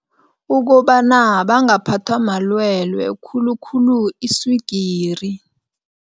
Ukobana bangaphathwa malwelwe, khulukhulu iswigiri.